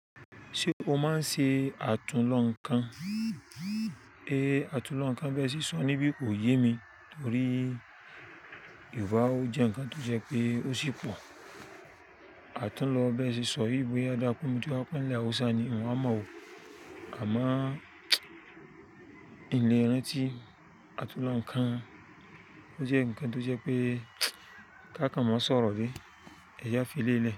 Ṣé o máa ń ṣe àtúnlọ̀ǹkan? Èé, àtúnlọ̀ǹkan gbé sí sọ̀rọ̀ níbí kò yé mi torí Yorùbá ò jẹ́ ǹkan tó jẹ́ pé ó ṣì pọ̀. Àtúnlọ̀ bẹ́ẹ̀ sì sọ̀rọ̀ ìbò yá dáko mi tí ó pínlẹ̀ Haúsá ni un wa mọ̀ ó. Àmáà ilé ìrántí àtúnlọ̀ǹkan ó jẹ́ ǹkan tó jẹ́ pé ká ká má sọ̀rọ̀ bí? Ẹ̀je a filé ilé.